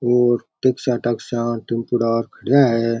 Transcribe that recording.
और डिक्सा टाक्स टेमपुड़ा खड़ा है।